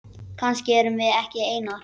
Kannski erum við ekki einar.